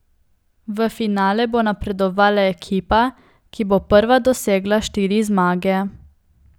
V finale bo napredovala ekipa, ki bo prva dosegla štiri zmage.